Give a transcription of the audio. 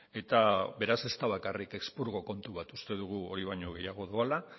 eta beraz ez da bakarrik espurgo kontu bat uste dugu hori baino gehiago doala